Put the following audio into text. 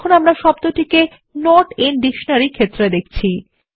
তাহলে আমরা শব্দটি নট আইএন ডিকশনারি ক্ষেত্রে দেখছি